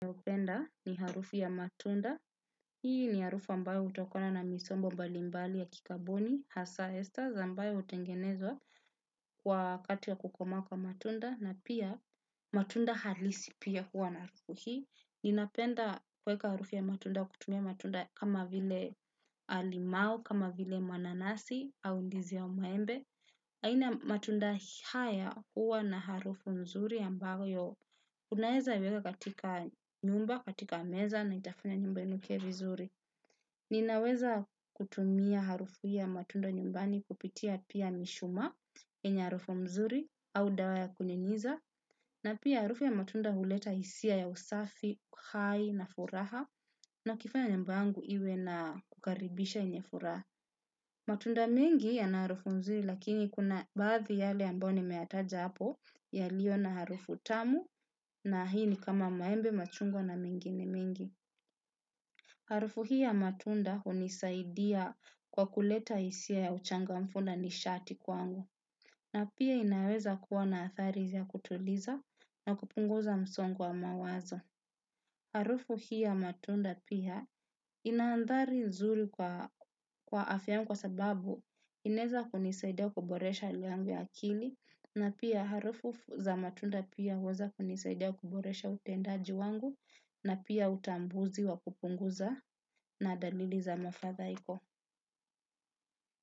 Ni harufu ya matunda. Hii ni harufu ambayo hutokona na misombo balimbali ya kikaboni. Hasa estaza ambayo hutengenezwa kwa kati ya kukomaa kwa matunda. Na pia matunda halisi pia hua na harufu hii. Ninapenda kweka harufu ya matunda kutumia matunda kama vile limau. Kama vile mananasi au ndizi aubmaembe. Aina matunda haya hua na harufu nzuri ambayo kunaweza iweka katika nyumba, katika meza na itafunya nyumba inukie vizuri. Ninaweza kutumia harufu ya matunda nyumbani kupitia pia mishumaa yenye harufu mzuri au dawa ya kunyunyiza. Na pia harufu ya matunda huleta hisia ya usafi, uhai na furaha na ukifanya nyumba yangu iwe na kukaribisha yenye furaha. Matunda mengi yana harufu nzuri lakini kuna baathi yale amboni nimeyataja hapo yalio na harufu tamu na hii ni kama maembe machungwa na mengine mengi. Harufu hii ya matunda hunisaidia kwa kuleta hisia ya uchangamfu na ni shati kwangu. Na pia inaweza kuwa na athari ya kutuliza na kupunguza msongo wa mawazo. Harufu hii ya matunda pia inaandhari nzuri kwa afya yangu kwa sababu inaeza kunisaida kuboresha hali yangu ya akili na pia harufu za matunda pia huweza kunisaida kuboresha utendaji wangu na pia utambuzi wa kupunguza na dalili za mafathaiko.